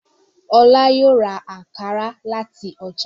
Ọlá yóò ra àǹkárá láti ọjà.